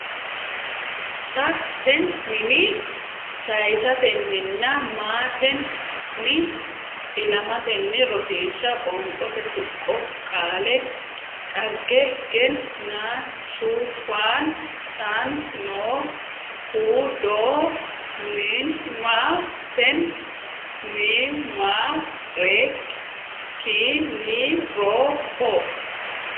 sa ten nin saysatenninna ma ten ni ilamatenni Rosiishsha Qoonqote Tuqqo Qaale dhag gen na su fan tan no hu do nim ma ten ni maa reek ki ni ro ho.